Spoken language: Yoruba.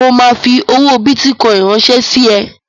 Mo ma fi owó bìtì kan ránsẹ́ sí ẹ